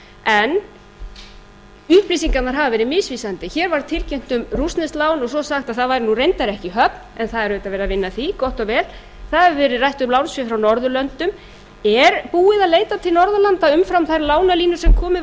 en upplýsingarnar hafa verið misvísandi hér var tilkynnt um rússneskt lán og svo sagt að það væri reyndar ekki í höfn en það er auðvitað verið að vinna í því gott og vel það hefur verið rætt um lánsfé frá norðurlöndum er búið að leita til norðurlanda umfram þær lánalínur sem komið